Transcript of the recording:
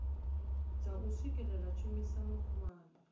dza u swikelela tshumisano khulwane